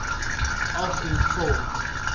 af en vul